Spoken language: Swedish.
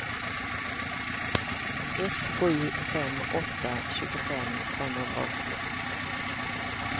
ett sju fem åtta tjugofem femhundraåttio